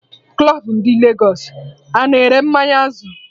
Club ndị Lagos a-na ere mmanya Azul?